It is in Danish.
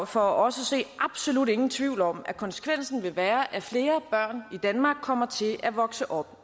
for os at se absolut ingen tvivl om at konsekvensen vil være at flere børn i danmark kommer til at vokse op